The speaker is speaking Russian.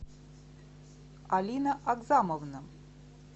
алина акзамовна